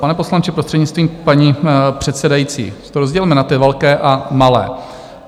Pane poslanče, prostřednictvím paní předsedající, to rozdělme na ty velké a malé.